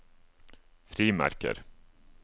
frimerker